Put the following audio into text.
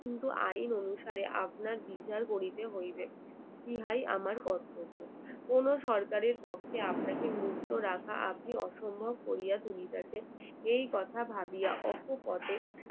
কিন্তু আইন অনুসারে আপনার বিচার করিতে হইবে ইহাই আমার কর্তব্য। কোনো সরকারের পক্ষেই আপনাকে মুক্ত রাখা আপনি অসম্ভব করিয়া তুলিয়াছেন এই কথা ভাবিয়া অকপটে